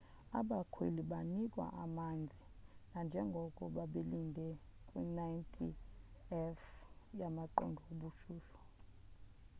abakhweli banikwa amanzi nanjengoko babelinde kwi 90f- yamaqondo obushushu